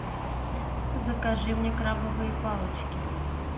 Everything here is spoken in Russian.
закажи мне крабовые палочки